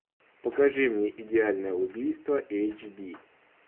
покажи мне идеальное убийство эйч ди